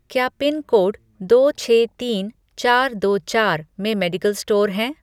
क्या पिनकोड दो छः तीन चार दो चार में मेडिकल स्टोर हैं?